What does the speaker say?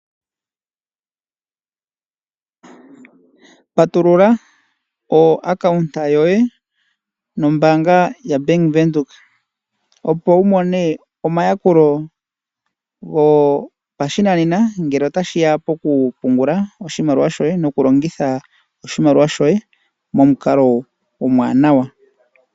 Patulula epandja lyoye nombaanga yoBank Windhoek opo wu mone omayakulo gopashinanena ngele tashiya pokupungula oshimaliwa shoye nokulongitha oshimaliwa shoye momukalo omuwanawa.